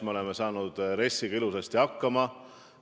Me oleme RES-iga ilusti hakkama saanud.